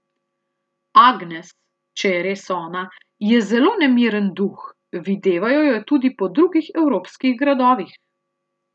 Agnes, če je res ona, je zelo nemiren duh, videvajo jo tudi po drugih evropskih gradovih.